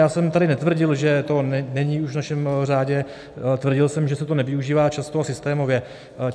Já jsem tady netvrdil, že to není už v našem řádu, tvrdil jsem, že se to nevyužívá často a systémově.